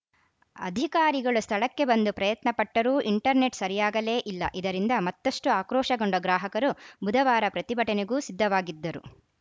ಅಧಿಕಾರಿಗಳು ಸ್ಥಳಕ್ಕೆ ಬಂದು ಪ್ರಯತ್ನಪಟ್ಟರೂ ಇಂಟರ್‌ನೆಟ್‌ ಸರಿಯಾಗಲೇ ಇಲ್ಲ ಇದರಿಂದ ಮತ್ತಷ್ಟುಆಕ್ರೋಶಗೊಂಡ ಗ್ರಾಹಕರು ಬುಧವಾರ ಪ್ರತಿಭಟನೆಗೂ ಸಿದ್ಧವಾಗಿದ್ದರು